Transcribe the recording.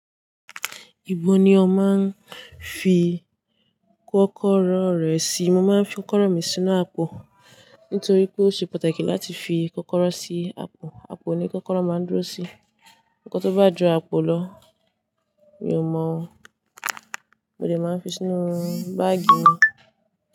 Ibo ni o máa ń fi kọ́kọ́rọ́ rẹ sí? Mo máa ń fi kọ́kọ́rọ́ mi sínú àpò nítorí pé ó ṣe pàtàkì láti fi kọ́kọ́rọ́ sí àpò. Àpò ni kọ́kọ́rọ́ máa ń dúró sí. Nkọ́ tó bá ju àpò lọ mi ò mọ̀ ó. Mo dè máa ń fi sínú báàgì mi.